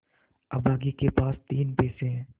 अभागे के पास तीन पैसे है